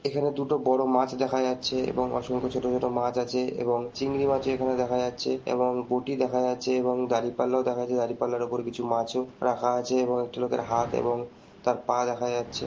এখানে দুটো বড় মাছ দেখা যাচ্ছে এবং অসংখ্য ছোট ছোট মাছ আছে এবং চিংড়ি মাছও এখানে দেখা যাচ্ছে এবং বটি দেখা যাচ্ছে এবং দাঁড়ি পাল্লাও দেখা যা দাঁড়ি পাল্লার ওপর কিছু মাছও রাখা আছে এবং একটি লোকের হাত এবং তার পা দেখা যাচ্ছে।